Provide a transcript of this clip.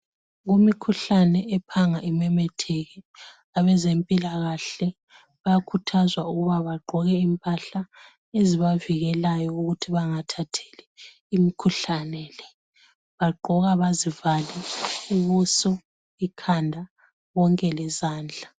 Kumikhuhlane ephanga imemetheke, abezempilakahle, bayakhuthazwa ukuba bagqoke impahla ezibavikelayo ukuthi bangathatheli imikhuhlane le. Bagqoka bazivale ubuso, ikhanda, konke lezandla.